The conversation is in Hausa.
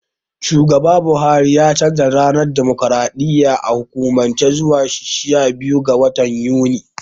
Shugaba Buhari ya canja ranar dimokraɗiyya a hukumance zuwa shabiyu ga watan Yuni.